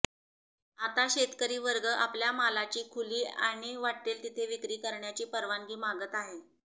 आता शेतकरी वर्ग आपल्या मालाची खुली आणि वाट्टेल तिथे विक्री करण्याची परवानगी मागत आहे